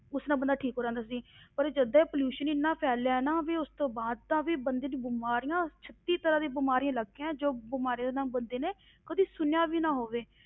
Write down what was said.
ਉਸ ਨਾਲ ਬੰਦਾ ਠੀਕ ਹੋ ਜਾਂਦਾ ਸੀ ਪਰ ਜਦ ਦਾ ਇਹ pollution ਹੀ ਇੰਨਾ ਫੈਲਿਆ ਹੈ ਨਾ, ਵੀ ਉਸ ਤੋਂ ਬਾਅਦ ਤਾਂ ਵੀ ਬੰਦੇ ਦੀ ਬਿਮਾਰੀਆਂ, ਛੱਤੀ ਤਰ੍ਹਾਂ ਦੀਆਂ ਬਿਮਾਰੀਆਂ ਲੱਗ ਗਈਆਂ, ਜੋ ਬਿਮਾਰੀਆਂ ਦਾ ਨਾਮ ਬੰਦੇ ਨੇ ਕਦੇ ਸੁਣਿਆ ਵੀ ਨਾ ਹੋਵੇ,